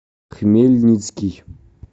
хмельницкий